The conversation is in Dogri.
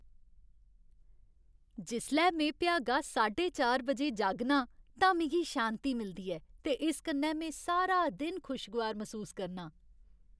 जिसलै में भ्यागा साड्डे चार बजे जागना आं तां मिगी शांति मिलदी ऐ ते इस कन्नै में सारा दिन खुशगवार मसूस करनां।